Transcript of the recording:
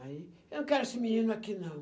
Aí, eu não quero esse menino aqui, não.